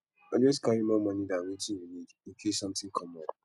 always carry more money than wetin you need in case something come up